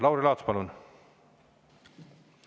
Lauri Laats, palun!